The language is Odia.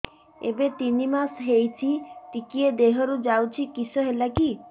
ଏବେ ତିନ୍ ମାସ ହେଇଛି ଟିକିଏ ଦିହରୁ ଯାଉଛି କିଶ ହେଲାକି